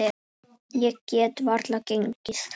Ég þekki þig.